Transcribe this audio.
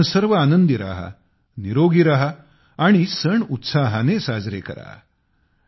तुम्ही सर्व आनंदी रहा निरोगी रहा आणि उत्साहाने साजरे करा